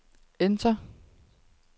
enter